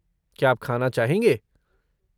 क्या आप खाना चाहेंगे?